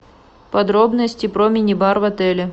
подробности про мини бар в отеле